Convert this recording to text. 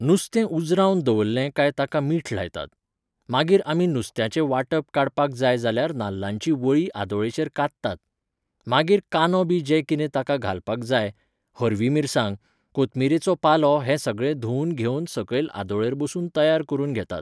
नुस्तें उजरावन दवरलें काय ताका मीठ लायतात. मागीर आमी नुस्त्याचें वाटप काडपाक जाय जाल्यार नाल्लाचीं वळीं आदोळेचेर कात्तात. मागीर कांनो बी जें कितें ताका घालपाक जाय, हरवी मिरसांग, कोथमिरेचो पालो हें सगळें धुवन घेवन सकयल आदोळेर बसून तयार करून घेतात.